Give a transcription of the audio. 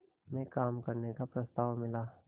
में काम करने का प्रस्ताव मिला